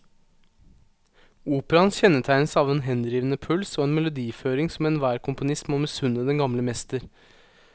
Operaen kjennetegnes av en henrivende puls og en melodiføring som enhver komponist må misunne den gamle mester.